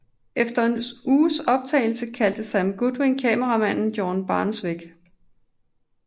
Efter en uges optagelser kaldte Sam Goldwyn kameramanden George Barnes væk